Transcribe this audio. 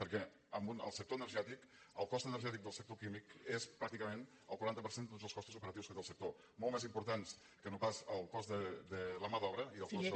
perquè el cost energètic del sector químic és pràcticament el quaranta per cent de tots els costos operatius que té el sector molt més important que no pas el cost de la mà d’obra i el cost